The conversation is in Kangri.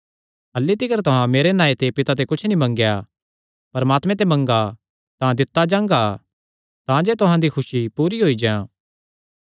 अह्ल्ली तिकर तुहां मेरे नांऐ ते पिता ते कुच्छ नीं मंगेया परमात्मे ते मंगा तां दित्ता जांगा तांजे तुहां दी खुसी पूरी होई जां